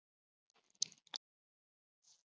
Heimir Már: Varst þú ánægð með þessi svör ráðherrans?